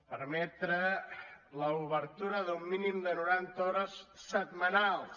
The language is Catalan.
permetre l’obertura d’un mínim de noranta hores setmanals